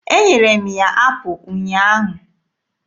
Enyere m ya apụ ụnyaahụ.